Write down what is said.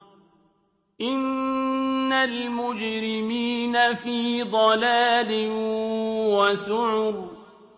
إِنَّ الْمُجْرِمِينَ فِي ضَلَالٍ وَسُعُرٍ